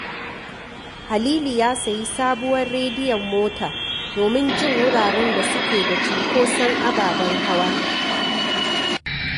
Halili ya sayi sabuwar rediyon mota domin jin wuraren da suke da cunkoson ababen hawa